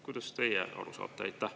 Kuidas teie sellest aru saate?